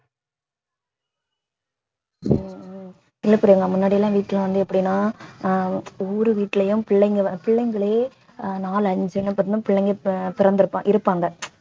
உம் உம் இல்லை பிரியங்கா முன்னாடி எல்லாம் வீட்டுல வந்து எப்படின்னா ஆஹ் ஒவ்வொரு வீட்டிலேயும் பிள்ளைங்க வந்~ பிள்ளைங்களே ஆஹ் நாலு அஞ்சுன்னு பாத்தினா பிள்ளைங்க பி~ பிறந்திருப்பாங்க இருப்பாங்க